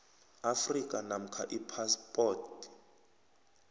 afrika namkha iphaspoti